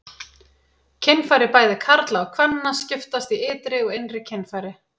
Kynfæri bæði karla og kvenna skiptast í ytri og innri kynfæri.